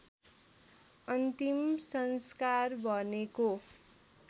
अन्तिम संस्कार भनेको